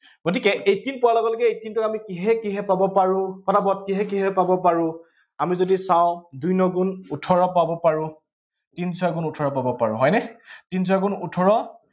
গতিকে eighteen পোৱাৰ লগে লগে eighteen টো আমি কিহে কিহে পাব পাৰো, আমি যদি চাওঁ দুই ন গুণ ওঠৰ পাব পাাৰো। তিন ছয় গুণ ওঠৰ পাব পাৰো, হয়নে? তিন ছয় গুণ ওঠৰ